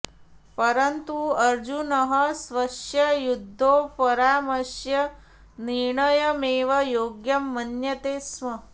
परन्तु अर्जुनः स्वस्य युद्धोपरामस्य निर्णयमेव योग्यं मन्यते स्म